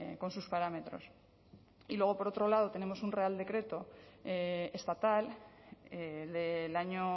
con sus parámetros y luego por otro lado tenemos un real decreto estatal del año